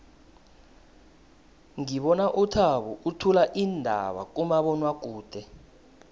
ngibona uthabo uthula iindaba kumabonwakude